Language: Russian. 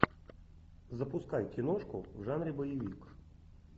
запускай киношку в жанре боевик